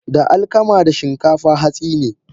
Da alkama da Shinkafa hatsine.